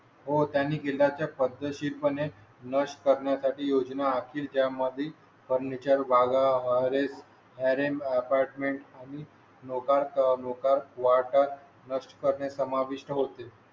हो, त्यांनी किल्ल्या च्या पद्धतशीर पणे नष्ट करण्यासाठी योजना आखेल. त्या मध्ये फर्निचर भाग आहेस. अरे अपार्टमेन्ट आणि. लोकां लोकांत वाटत नष्ट करणे समाविष्ट होते.